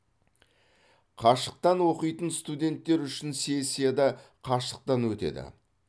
қашықтан оқитын студенттер үшін сессия да қашықтан өтеді